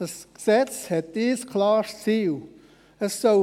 Das Gesetz hat ein klares Ziel: